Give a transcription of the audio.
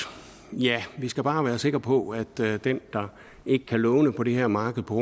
skal vi bare være sikre på at den der ikke kan låne på det her marked på